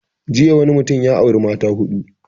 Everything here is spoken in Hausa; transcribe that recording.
Jiya wani mutum ya auri mata huɗu